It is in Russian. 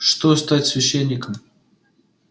что стать священником